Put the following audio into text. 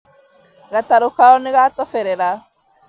Gatarũ kao nĩgatoberera